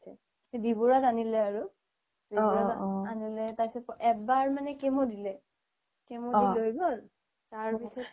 B বৰুৱাত আনিলে আৰু তাৰ পাছত এবাৰ মানে chemo দিলে chemo দি লৈ গ'ল তাৰপাছত